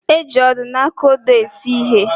E ji odo na aka odo esu ihe.